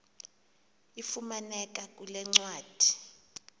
ifumaneka kule ncwadi